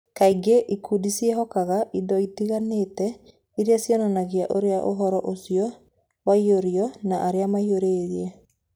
Kaingĩ, ikundi ciĩhokaga indo itiganĩte iria cionanagia ũrĩa ũhoro ũcio waiyũirũo na arĩa maũiyũrire